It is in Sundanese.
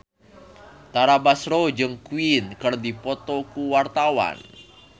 Tara Basro jeung Queen keur dipoto ku wartawan